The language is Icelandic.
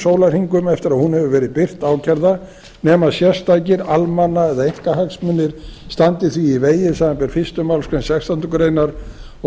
sólarhringum eftir að hún hefur verið birt ákærða nema sérstakir almanna eða einkahagsmunir standi því í vegi samanber fyrstu málsgrein sextándu grein og